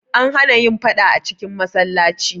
An hana yin faɗa a cikin masallaci.